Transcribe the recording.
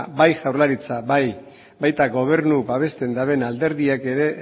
bai jaurlaritzak baita gobernu babesten duten alderdiak ere